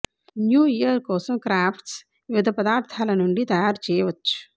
new year కోసం crafts వివిధ పదార్థాల నుండి తయారు చేయవచ్చు